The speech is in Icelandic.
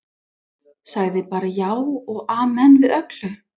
Sagði bara já og amen við öllu.